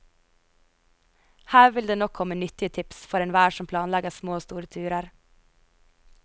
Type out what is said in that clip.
Her vil det nok komme nyttige tips for enhver som planlegger små og store turer.